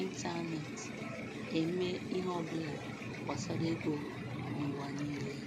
ịntaneetị eme ihe ọbụla gbasara ego n'ụwa niile